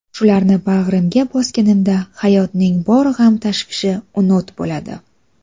Shularni bag‘rimga bosganimda hayotning bor g‘am-tashvishi unut bo‘ladi.